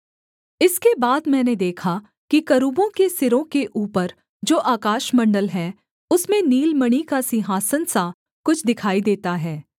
इसके बाद मैंने देखा कि करूबों के सिरों के ऊपर जो आकाशमण्डल है उसमें नीलमणि का सिंहासन सा कुछ दिखाई देता है